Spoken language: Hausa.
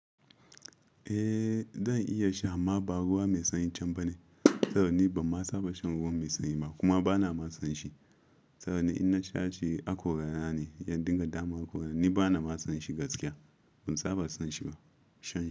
Eh zan iya sha amma ba ruwa mai sanyin can bane. Saboda ni ban ma saba shan ruwan mai sanyi ba kuma bana ma son shi. Saboda ni inna sha shi haƙora na ne, ya dinga damu haƙora. Ni bana masan shi gaskiya, kun saba san shi ba? Sha.